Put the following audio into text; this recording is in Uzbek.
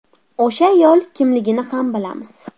O‘sha ayol kimligini ham bilamiz.